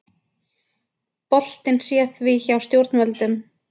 Boltinn sé því hjá stjórnvöldum